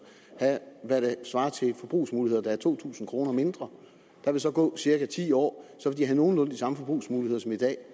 have hvad der svarer til forbrugsmuligheder der er to tusind kroner mindre der vil så gå cirka ti år så vil de have nogenlunde de samme forbrugsmuligheder som i dag